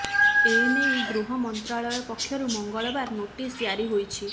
ଏନେଇ ଗୃହ ମନ୍ତ୍ରାଳୟ ପକ୍ଷରୁ ମଙ୍ଗଳବାର ନୋଟିସ୍ ଜାରି ହୋଇଛି